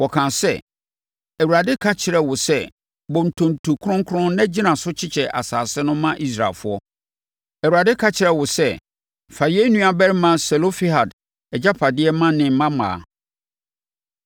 Wɔkaa sɛ, “ Awurade ka kyerɛɛ wo sɛ bɔ ntonto kronkron na gyina so kyekyɛ asase no ma Israelfoɔ. Awurade ka kyerɛɛ wo sɛ fa yɛn nuabarima Selofehad agyapadeɛ ma ne mmammaa.